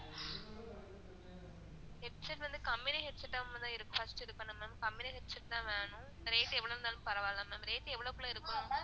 headset வந்து company headset ஆ தான் first இருக்கணும் ma'am company headset தான் வேணும் rate எவ்ளோ இருந்தாலும் பரவா இல்ல ma'am, rate எவ்ளோகுள்ள இருக்கு ma'am